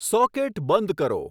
socket બંધ કરો